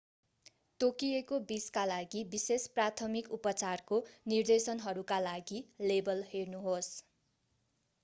तोकिएको विषका लागि विशेष प्राथमिक उपचारको निर्देशनहरूका लागि लेबल हेर्नुहोस्‌।